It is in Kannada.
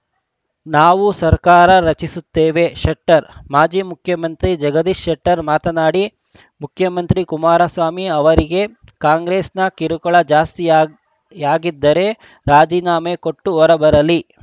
ನಾವು ಸರ್ಕಾರ ರಚಿಸುತೇವೆ ಶೆಟ್ಟರ್‌ ಮಾಜಿ ಮುಖ್ಯಮಂತ್ರಿ ಜಗದೀಶ್‌ ಶೆಟ್ಟರ್‌ ಮಾತನಾಡಿ ಮುಖ್ಯಮಂತ್ರಿ ಕುಮಾರಸ್ವಾಮಿ ಅವರಿಗೆ ಕಾಂಗ್ರೆಸ್‌ನ ಕಿರುಕುಳ ಜಾಸ್ತಿಯ ಯಾಗಿದ್ದರೆ ರಾಜೀನಾಮೆ ಕೊಟ್ಟು ಹೊರಬರಲಿ